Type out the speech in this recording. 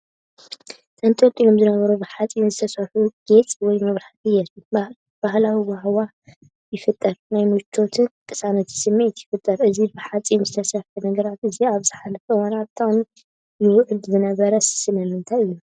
ተንጠልጢሎም ዝነበሩ ብሓጺን ዝተሰርሑ ጌጽ ወይ መብራህቲ የርኢ። ባህላዊ ሃዋህው ይፈጥር፣ ናይ ምቾትን ቅሳነትን ስምዒት ይፈጥር። እዚ ብሓጺን እተሰርሐ ነገራት እዚ ኣብ ዝሓለፈ እዋን ኣብ ጥቕሚ ይውዕል ዝነበረ ስለምንታይ እዩ፧